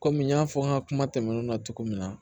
Kɔmi n y'a fɔ n ka kuma tɛmɛnenw na cogo min na